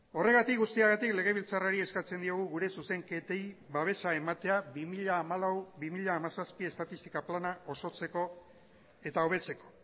horregatik guztiagatik legebiltzarrari eskatzen diogu gure zuzenketei babesa ematea bi mila hamalau bi mila hamazazpi estatistika plana osotzeko eta hobetzeko